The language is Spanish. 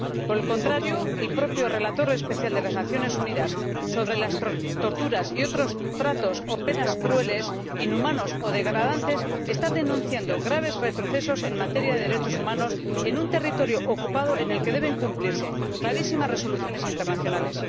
Por el contrario, el propio Relator Especial de las Naciones Unidas sobre las torturas y otros tratos o penas crueles, inhumanos o degradantes está denunciando graves retrocesos en materia de derechos humanos en un territorio ocupado en el que deben cumplirse clarísimas resoluciones internacionales.